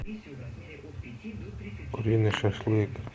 куриный шашлык